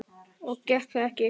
Og gekk það ekki vel.